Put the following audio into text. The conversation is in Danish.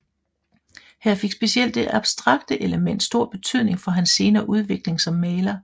Her fik specielt det abstrakte element stor betydning for hans senere udvikling som maler